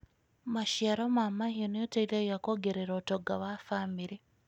Maciaro ma mahiũ nĩ ũteithagia kuongerera ũtonga wa famĩrĩ.